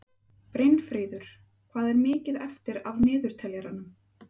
Brynfríður, hvað er mikið eftir af niðurteljaranum?